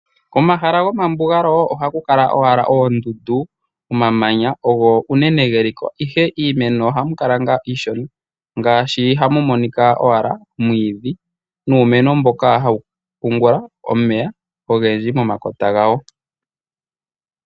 Omahala gomambugalo, oha ku kala oondundu, omamanya, ogo unene geliko. Ihe iimeno oha mu kala ngaa iishona, nfaashi ha mu monika owala omwiidhi nuumeno mboka ha wu pungula omeya ogendji momakota gawo.